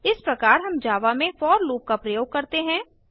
इस प्रकार हम जावा में फोर लूप का प्रयोग करते हैं